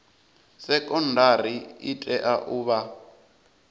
sekondari i tea u vha